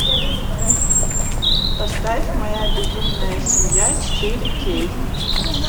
поставь моя безумная семья четыре кей